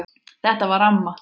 Þetta var amma.